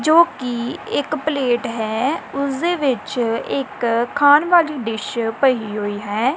ਜੋ ਕਿ ਇੱਕ ਪਲੇਟ ਹੈ ਉਸਦੇ ਵਿੱਚ ਇੱਕ ਖਾਣ ਵਾਲੀ ਡਿਸ਼ ਪਈ ਹੋਈ ਹੈ।